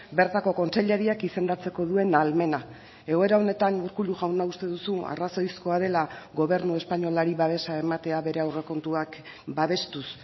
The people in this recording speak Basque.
bertako kontseilariak izendatzeko duen ahalmena egoera honetan urkullu jauna uste duzu arrazoizkoa dela gobernu espainolari babesa ematea bere aurrekontuak babestuz